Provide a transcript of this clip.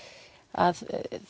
að